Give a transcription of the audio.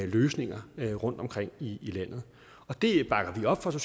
løsninger rundtomkring i landet det bakker vi op fra